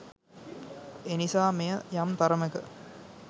එනිසා මෙය යම් තරමක